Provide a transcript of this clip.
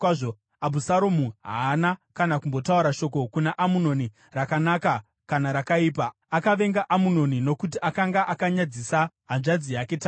Abhusaromu haana kana kumbotaura shoko kuna Amunoni, rakanaka kana rakaipa; akavenga Amunoni nokuti akanga akanyadzisa hanzvadzi yake Tamari.